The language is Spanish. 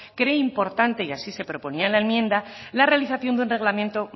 cree importante y así se proponía en la enmienda la realización de un reglamento